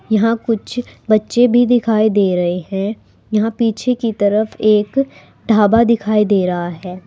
यहां कुछ बच्चे भी दिखाई दे रहे हैं यहां पीछे की तरफ एक ढाबा दिखाई दे रहा है।